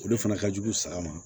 O de fana ka jugu saga ma